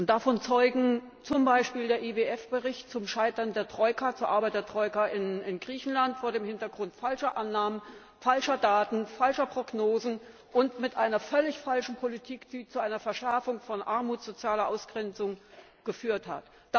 Davon zeugt zum Beispiel der IWF Bericht zum Scheitern der Arbeit der Troika in Griechenland vor dem Hintergrund falscher Annahmen, falscher Daten, falscher Prognosen und einer völlig falschen Politik, die zu einer Verschärfung von Armut und sozialer Ausgrenzung geführt hat.